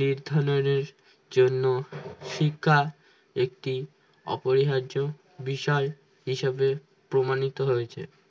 নির্ধারণের জন্য শিক্ষা একটি অপরিহার্য বিশাল হিসেবে প্রমাণিত হয়েছে